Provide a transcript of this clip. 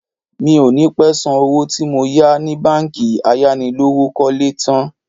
Mi ò ní pẹ́ san owó tí mo yá ni báńkì ayánilówókọ́lé tn